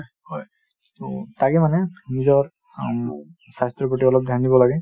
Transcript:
হয় , টো তাকে মানে নিজৰ স্বাস্থ্যৰ প্ৰতি অলপ ধ্যান দিব লাগে |